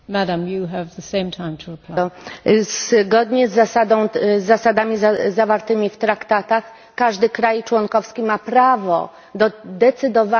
Zgodnie z zasadami zawartymi w traktatach każdy kraj członkowski ma prawo do decydowania o swoim koszyku energetycznym.